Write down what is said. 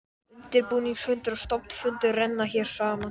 Undirbúningsfundur og stofnfundur renna hér saman.